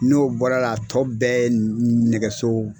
N'o bɔra la a tɔ bɛɛ nɛgɛso.